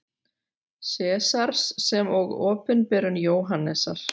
Sesars sem og Opinberun Jóhannesar.